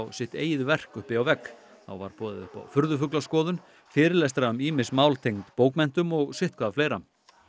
sitt eigið verk uppi á vegg þá var boðið upp á fyrirlestra um ýmis mál tengd bókmenntum og sitthvað fleira